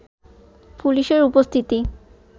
পুলিশের উপস্থিতি